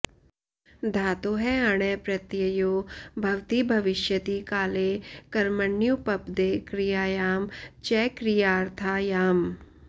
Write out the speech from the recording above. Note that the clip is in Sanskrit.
धातोः अण् प्रत्ययो भवति भविष्यति काले कर्मण्युपपदे क्रियायां च क्रियार्थायाम्